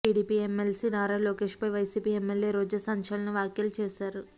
TDP MLC Nara Lokesh పై YCP MLA Roja సంచలన వ్యాఖ్యలు చేశారు